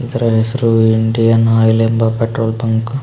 ಇದರ ಹೆಸರು Indian Oil ಎಂಬ ಕಟೌಟ್ ಇದೆ.